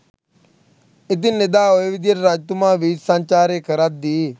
ඉතින් එදා ඔය විදිහට රජතුමා වීථි සංචාරය කරද්දී